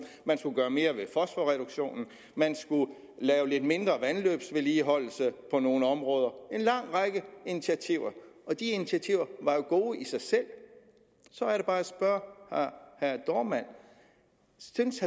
man skulle gøre mere ved fosforreduktionen man skulle lave lidt mindre vandløbsvedligeholdelse på nogle områder en lang række initiativer og de initiativer var jo gode i sig selv så er det bare jeg spørger herre dohrmann synes